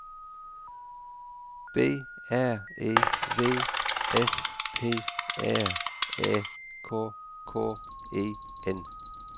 B R E V S P R Æ K K E N